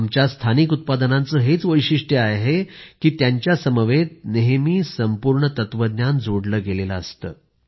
आमच्या स्थानिक उत्पादनांचं हेच वैशिष्ट्य आहे की त्यांच्या समवेत नेहमी संपूर्ण तत्वज्ञान जोडलं गेलेलं असतं